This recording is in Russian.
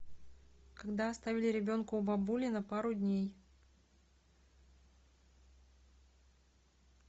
когда оставили ребенка у бабули на пару дней